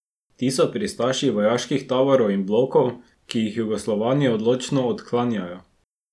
Ti so pristaši vojaških taborov ali blokov, ki jih Jugoslovani odločno odklanjajo.